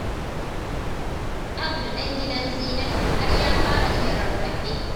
Abdu ɗan gidan Zinatu fa har ya fara iya rarrafe.